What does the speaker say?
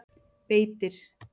Beitir